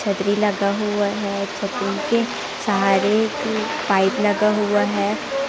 छतरी लगा हुआ है छतरी के सहारे एक पाइप लगा हुआ है।